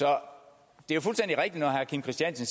når herre kim christiansen